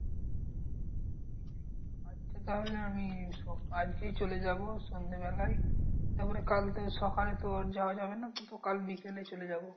আচ্ছা তাহলে আমি আজকেই চলে যাবো সন্ধেবেলাই। তারপরে কাল সকালে তোর যাওয়া যাবে না? কাল বিকেলে চলে যাবো।